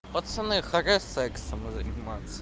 пацаны хватит сексом заниматься